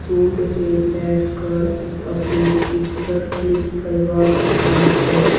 सूँड पे बैठकर अपनी पिक्चर क्लिक करवा रहा है।